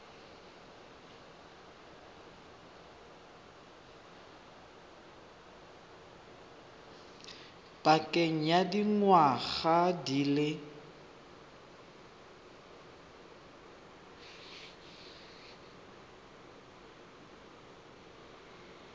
pakeng ya dingwaga di le